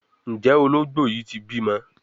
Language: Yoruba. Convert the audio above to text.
Njé Ológbò yí tí bímọ?